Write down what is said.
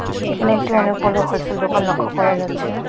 এখানে একটি অনেক বড়ো হোলসেল দোকান লক্ষ্য করা যাচ্ছে .